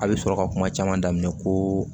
A bɛ sɔrɔ ka kuma caman daminɛ koo